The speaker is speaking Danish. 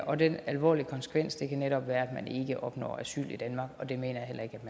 og den alvorlige konsekvens kan netop være at man ikke opnår asyl i danmark og det mener